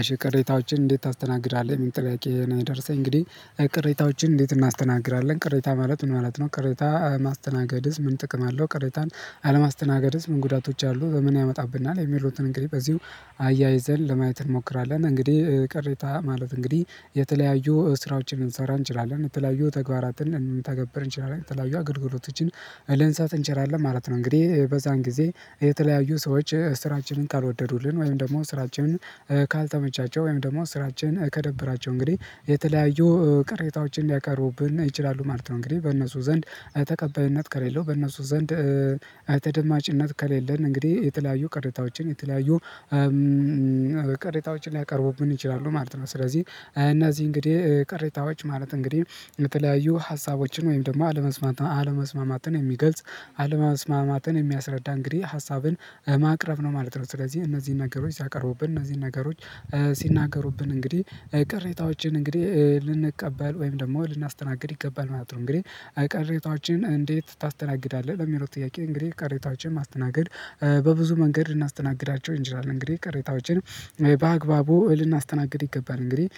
እሺ ቅሬታዎችን እንዴት ታስተናግዳለህ ሚል ጥያቄ ነው የደረሰኝ እንግዲህ አይ ቅሬታዎችን እንዴት እናስተናግራለን ቅሬታ ማለት ምን ማለት ነው? ቅሬታ ማስተናገድስ ምን ጥቅም አለው? ቅሬታን አለማስተናገድስ ምን ጉዳቶች አሉ ምን ያመጣብናል? የሚሉትን እንግዲህ በዚሁ አያይዘን ለማየት እንሞክራለን። እንግዲህ ቅሬታ ማለት እንግዲህ የተለያዩ ስራዎችን ልንሰራ እንችላለን የተለያዩ ተግባራትን እንደንተገብር እንችላለን የተለያዩ አገልግሎቶችን ልንሳት እንችላለን ማለት ነው። እንግዲህ በዛን ጊዜ የተለያዩ ሰዎች ስራችንን ካልወደዱልን ወይም ደግሞ ስራችንን ካልተመቻቸው ወይም ደግሞ ስራችንን ከደበራቸው እንግዲህ የተለያዩ ቅሬታዎችን ሊያቀርቡብን ይችላሉ ማለት ነው። እንግዲህ በእነሱ ዘንድ ተቀባይነት ከሌለው በእነሱ ዘንድ ተደማጭነት ከሌለን እንግዲህ የተለያዩ ቅሬታዎችን የተለያዩ ቅሬታዎችን ሊያቀርቡብን ይችላሉ ማለት ነው። ስለዚህ እነዚህ እንግዲህ ቅሬታዎች ማለት እንግዲህ የተለያዩ ሀሳቦችን ወይም ደግሞ አለመስማት አለመስማማትን የሚገልጽ አለመስማማትን የሚያስረዳ እንግዲህ ሀሳብን ማቅረብ ነው ማለት ነው። ስለዚህ እነዚህ ነገሮች ሲያቀርቡብን እነዚህ ነገሮች ሲናገሩብን እንግዲህ ቅሬታዎችን እንግዲህ ልንቀበል ወይም ደግሞ ልናስተናግድ ይገባል ማለት ነው። እንግዲህ አይ ቅሬታዎችን እንዴት ታስተናግዳለህ? ለሚለው ጥያቄ እንግዲህ ቅሬታችን ማስተናገድ በብዙ መንገድ ልናስተናግዳቸው እንችላለን እንግዲህ ቅሬታዎችን በአግባቡ ልናስተናግድ ይገባል እንግዲህ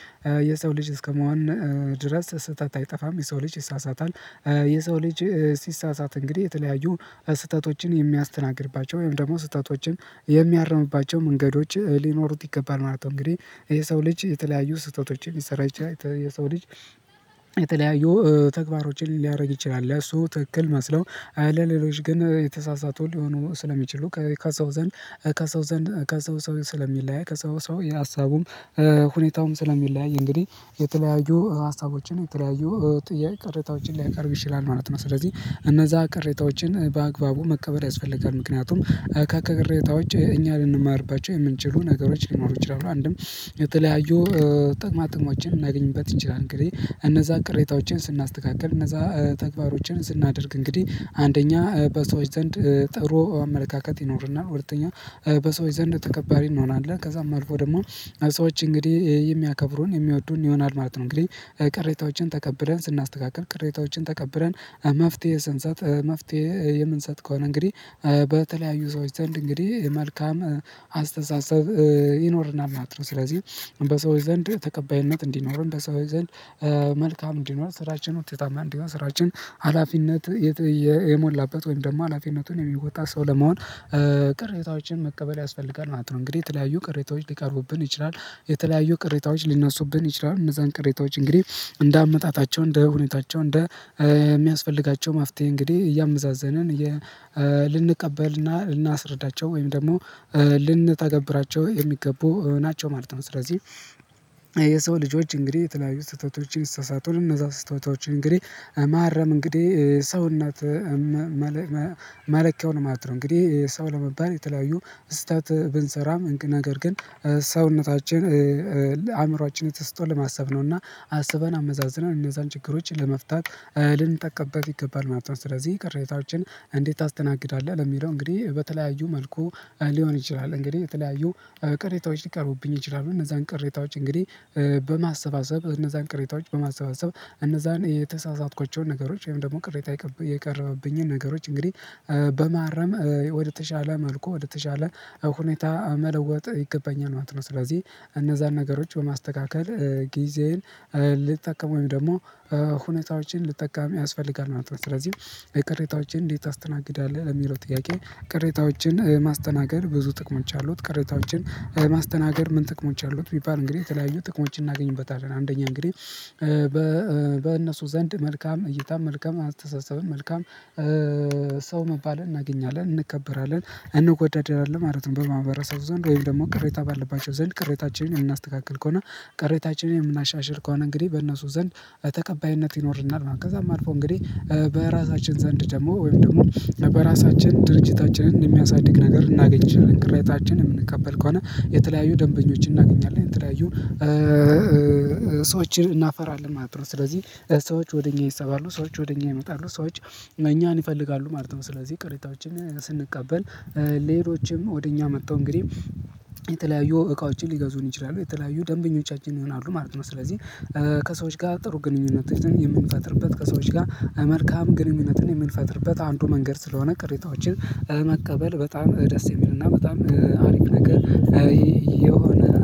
የሰው ልጅ እስከመሆን ድረስ ስህተት አይጠፋም። የሰው ልጅ ይሳሳታል የሰው ልጅ ሲሳሳት እንግዲህ የተለያዩ ስህተቶችን የሚያስተናግድባቸው ወይም ደግሞ ስህተቶችን የሚያርምባቸው መንገዶች ሊኖሩት ይገባል ማለት ነው። እንግዲህ የሰው ልጅ የተለያዩ ስህተቶች ሊሰራ ይችላል የሰው ልጅ የተለያዩ ተግባሮችን ሊያረግ ይችላል። እሱ ትክክል መስለው አይደል ሌሎች ግን የተሳሳቱ ሊሆኑ ስለሚችሉ ከሰው ዘንድ ከሰው ዘንድ ከሰው ሰው ስለሚለያይ ከሰው ሰው የሀሳቡም ሁኔታውም ስለሚለያይ እንግዲህ የተለያዩ ሀሳቦችን የተለያዩ ጥያቄ ቅሬታዎችን ሊያቀርብ ይችላል ማለት ነው። ስለዚህ እነዛ ቅሬታዎችን በአግባቡ መቀበል ያስፈልጋል። ምክንያቱም ከቅሬታዎች እኛ ልንማርባቸው የምንችሉ ነገሮች ሊኖሩ ይችላሉ አንድም የተለያዩ ጥቅማ ጥቅሞችን እናገኝበት እንችላለን። እንግዲህ እነዛ ቅሬታዎችን ስናስተካክል እነዛ ተግባሮችን ስናደርግ እንግዲህ አንደኛ በሰዎች ዘንድ ጥሩ አመለካከት ይኖርናል ሁለተኛ በሰዎች ዘንድ ተከባሪ እንሆናለን ከዛም አልፎ ደሞ ሰዎች እንግዲህ የሚያከብሩን የሚወዱን ይሆናል ማለት ነው። እንግዲህ ቅሬታዎችን ተቀብለን ስናስተካክል ቅሬታዎችን ተቀብለን መፍትሄ ስንሰጥ መፍትሄ የምንሰጥ ከሆነ እንግዲህ በተለያዩ ሰዎች ዘንድ እንግዲህ መልካም አስተሳሰብ ይኖረናል ማለት ነው። ስለዚህ በሰዎች ዘንድ ተቀባይነት እንዲኖረን በሰዎች ዘንድ መልካም እንዲኖር ስራችን ውጤታማ እንዲሆን ስራችን ሀላፊነት የሞላበት ወይም ደግሞ ሀላፊነቱን የሚወጣ ሰው ለመሆን ቅሬታዎችን መቀበል ያስፈልጋል ማለት ነው። እንግዲህ የተለያዩ ቅሬታዎች ሊቀርቡብን ይችላል የተለያዩ ቅሬታዎች ሊነሱብን ይችላል እነዛን ቅሬታዎች እንግዲህ እንደ አመጣጣቸው እንደ ሁኔታቸው እንደ የሚያስፈልጋቸው ማፍትሄ እንግዲህ እያመዛዘነን ልንቀበልና ልናስረዳቸው ወይም ደግሞ ልንታገብራቸው የሚገቡ ናቸው ማለት ነው። ስለዚህ የሰው ልጆች እንግዲህ የተለያዩ ስተቶችን ይስሳታል እነዛ ስሰቶችን እንግዲህ ማረም እንግዲህ ሰውነት መለኪያውን ማለት ነው እንግዲህ ሰው ለመባል የተለያዩ ስህተት ብንሰራም ነገር ግን ሰውነታችን አእምሮአችን የተሰጠን ለማሰብ ነውና አስበን አመዛዝነን እነዛን ችግሮች ለመፍታት ልንጠቀበቅ ይገባል ማለት ነው። ስለዚህ ቅሬታዎችን እንዴት ታስተናግዳለህ? ለሚለው እንግዲህ በተለያዩ መልኩ ሊሆን ይችላል እንግዲህ በተለያዩ ቅሬታዎች ሊቀርቡብኝ ይችላሉ እነዛን ቅሬታዎች እንግዲህ በማሰባሰብ እነዛን ቅሬታዎች በማሰባሰብ እነዛን የተሳሳትኳቸውን ነገሮች ወይም ደግሞ ቅሬታ የቀረበብኝን ነገሮች እንግዲህ በማረም ወደተሻለ መልኩ ወደተሻለ ሁኔታ መለወጥ ይገባኛል ማለት ነው። ስለዚህ እነዛን ነገሮች በማስተካከል ጊዜዬን ልጠቀመው ወይ ደሞ ሁኔታዎችን ልጠቀም ያስፈልጋል ማለት ነው ስለዚህ በቅሬታዎቼ እንዴት ታስተናግዳለህ? ለሚለው ጥያቄ ቅሬታዎችን ማስተናገድ ብዙ ጥቅሞች አሉት። ቅሬታዎችን ማስተናገድ ምን ጥቅሞች አሉት? ቢባል እንግዲህ የተለያዩ ጥቅሞችን እናገኝበታለን አንደኛ እንግዲህ በእነሱ ዘንድ መልካም እይታም መልካም አስተሳሰብም መልካም ሰው መባልን እናገኛለን እንከበራለን እንጎዳዳለን ማለት ነው። በር ማሕበረ ሰብ ዘንድ ወይም ደግሞ ቅሬታ ባለባቸው ዘንድ ቅሬታችንን የምናስተካክል ከሆነ ቅሬታችንን የምናሻሽል ከሆነ እንግዲህ በእነሱ ዘንድ ተቀባይነት ይኖርናል። ከዛም አልፎ እንግዲህ በራሳችን ዘንድ ደሞ ወይም ደግሞ በራሳችን ድርጅታችንን የሚያሳድግ ነገር ልናገኝ እንችላለን ቅሬታችን የምንቀበል ከሆነ የተለያዩ ደንበኞችን እናገኛለን የተለያዩ ሰዎችን እናፈራለን ማለት ነው። ስለዚህ ሰዎች ወደ እኛ ይሳባሉ ሰዎች ወደ እኛ ይመጣሉ ሰዎች እኛን ይፈልጋሉ ማለት ነው። ስለዚህ ቅሬታዎችን ስንቀበል ሌሎችም ወደ እኛ መጥቶ እንግዲህ የተለያዩ እቃዎችን ሊገዙን ይችላሉ የተለያዩ ደንበኞቻችን ይሆናሉ ማለት ነው። ስለዚህ ከሰዎች ጋር ጥሩ ግንኙነቾን የምንፈጥርበት ከሰዎች ጋር መልካም ግንኙነትን የምንፈጥርበት አንዱ መንገድ ስለሆነ ቅሬታዎችን መቀበል በጣም ደስ የሚልና በጣም አሪፍ ነገር። የሆነ